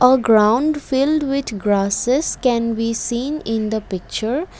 A ground filled with grasses can we seen in the picture.